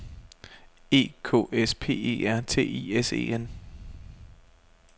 E K S P E R T I S E N